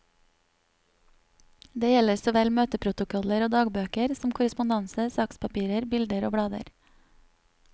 Det gjelder såvel møteprotokoller og dagbøker, som korrespondanse, sakspapirer, bilder og blader.